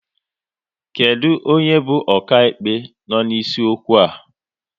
Kedụ onye bụ okaịkpe no n'isi okwu ahụ?